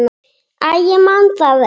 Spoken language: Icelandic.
Æ, ég man það ekki.